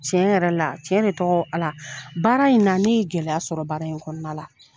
Tiɲɛ yɛrɛ la tiɲɛ de tɔgɔ Ala baara in na ne ye gɛlɛya sɔrɔ baara in kɔnɔna la.